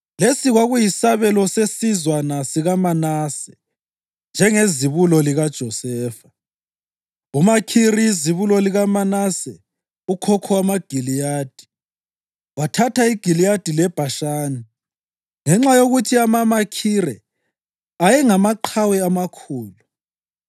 Lesi kwakuyisabelo sesizwana sikaManase njengezibulo likaJosefa. UMakhiri izibulo likaManase, ukhokho wamaGiliyadi, wathatha iGiliyadi leBhashani ngenxa yokuthi amaMakhire ayengamaqhawe amakhulu.